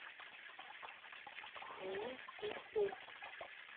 у меня их нет